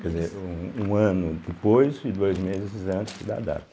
Quer dizer, um ano depois e dois meses antes da data.